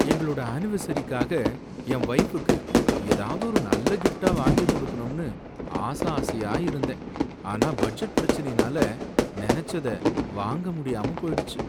எங்களோட அனிவர்சரிக்காக என் வைஃப்க்கு ஏதாவது ஒரு நல்ல கிஃப்ட்டா வாங்கி கொடுக்கணும்னு ஆசை ஆசையா இருந்தேன். ஆனா பட்ஜெட் பிரச்சினையினால நினைச்சத வாங்க முடியாம போயிடுச்சு.